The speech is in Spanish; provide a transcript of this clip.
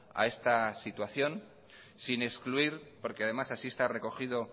a esta situación sin excluir porque además así está recogido